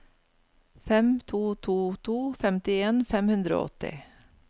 fem to to to femtien fem hundre og åtti